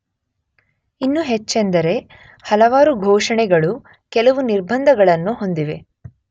ಇನ್ನು ಹೆಚ್ಚೆಂದರೆ ಹಲವಾರು ಘೋಷಣೆಗಳು ಕೆಲವು ನಿರ್ಭಂದಗಳನ್ನು ಹೊಂದಿವೆ